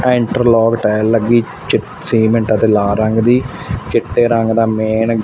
interlock tile ਲੱਗੀ ਚੀ cement ਅਤੇ ਲਾਲ ਰੰਗ ਦੀ ਚਿੱਟੇ ਰੰਗ ਦਾ ਮੇਨ--